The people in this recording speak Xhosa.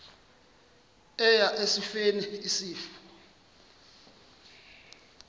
eya esifeni isifo